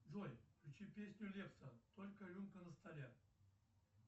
джой включи песню лепса только рюмка на столе